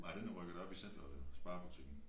Nej den er rykket op i centeret jo Spar butikken